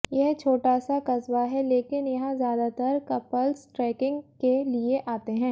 यह छोटा सा कस्बा है लेकिन यहां ज्यादातर कपल्स ट्रैकिंग के लिए आते हैं